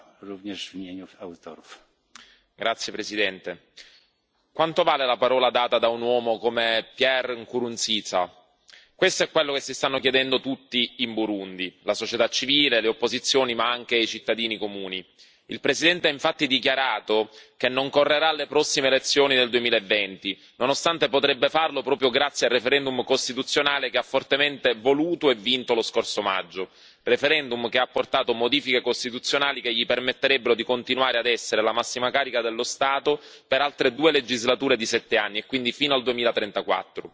Signor Presidente, onorevoli colleghi, quanto vale la parola data da un uomo come Pierre Nkurunziza? Questo è quello che si stanno chiedendo tutti in Burundi la società civile, le opposizioni ma anche i cittadini comuni. Il presidente ha infatti dichiarato che non si candiderà alle prossime elezioni del 2020, nonostante potrebbe farlo proprio grazie al referendum costituzionale che ha fortemente voluto e vinto lo scorso maggio, referendum che ha apportato modifiche costituzionali che gli permetterebbero di continuare ad essere la massima carica dello Stato per altre due legislature di sette anni e quindi fino al 2034.